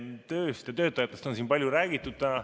Tööst ja töötajatest on siin palju räägitud.